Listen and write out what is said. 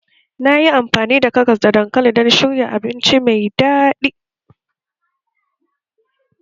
Na yi amfani da karas da dankali don shirya abinci mai daɗi